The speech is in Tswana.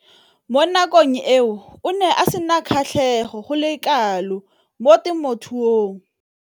Mo nakong eo o ne a sena kgatlhego go le kalo mo temothuong.